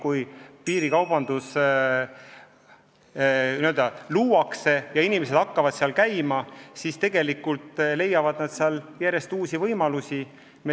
Kui piirikaubandus on hoo sisse saanud ja inimesed hakkavad seal käima, siis nad leiavad seal järjest uusi võimalusi.